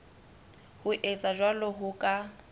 ho etsa jwalo ho ka